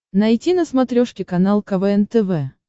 найти на смотрешке канал квн тв